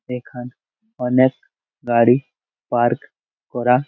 এখানে অনেক গাড়ি পার্ক করা--